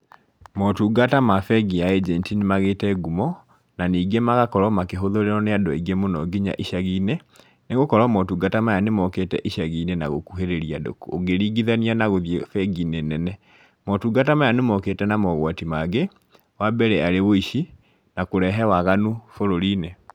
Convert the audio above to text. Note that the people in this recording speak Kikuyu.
Motungata ma bengi ya ĩjenti nĩ magĩte ngumo, na ningĩ magakorwo makĩhũthĩrwo nĩ andũ aingĩ mũno nginya icagi-inĩ, nĩ gũkorwo motungata maya nĩ mokĩte icagi-inĩ na gũkuhĩrĩria andũ ũngĩringithania na gũthiĩ bengi nene. Motungata maya nĩ mokĩte na mogwati mangĩ, wa mbere arĩ ũici, na kũrehe waganu bũrũri-inĩ.